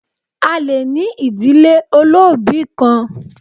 A le ní ìdílé olóòbí kan